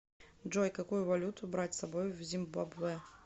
джой какую валюту брать с собой в зимбабве